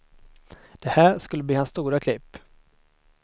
Det här skulle bli hans stora klipp.